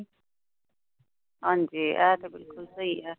ਹਾਂ ਜੀ। ਇਹ ਤੇ ਬਿੱਲਕੁੱਲ ਸਹੀ ਹੈ।